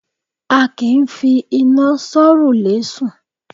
á kí ń fí iná sọ̀rúlẹ sùn